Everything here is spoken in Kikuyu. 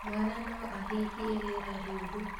mwana no ahihie rĩera rioru.